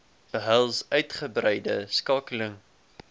behels uitgebreide skakeling